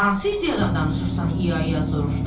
Hansı ideyadan danışırsan ia-ia soruşdu.